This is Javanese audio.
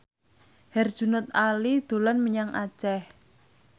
Herjunot Ali dolan menyang Aceh